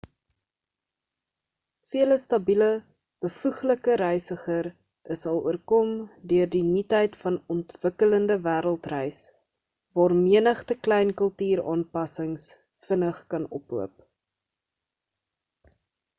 vele stabiele bevoeglike reisiger is al oorkom deur die nuutheid van ontwikkellinde wêreld reis waar menigte klein kultuur aanpassings vinnig kan ophoop